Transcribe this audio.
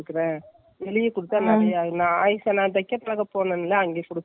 bg ரெண்டரை meter ல தாசிக்குறேன், ஜொள்ளு பட்ட மாதிரி முன்னாடி உள்ள ரோஸ் color உள்ள attach .